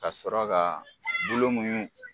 Ka sɔrɔ ka bulu ka muɲu